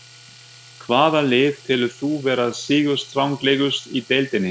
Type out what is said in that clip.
Hvaða lið telur þú vera sigurstranglegust í deildinni?